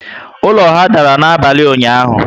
Ụlọ ha dàrà n'abalị ụnyaahụ